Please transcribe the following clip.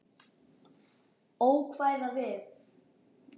Ókvæða við